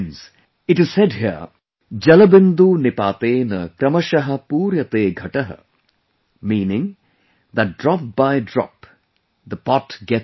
it is said here "जलबिंदु निपातेन क्रमशः पूर्यते घटः", meaning that drop by drop, the pot gets filled